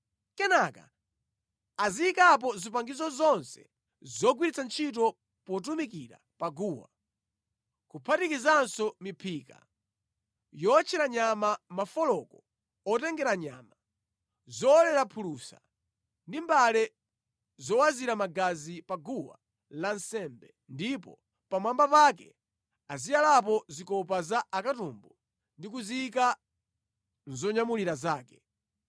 Kenaka aziyikapo zipangizo zonse zogwiritsira ntchito potumikira pa guwa, kuphatikizapo miphika yowotchera nyama, mafoloko otengera nyama, zowolera phulusa ndi mbale zowazira magazi pa guwa lansembe ndipo pamwamba pake aziyalapo zikopa za akatumbu ndi kuziyika mʼzonyamulira zake.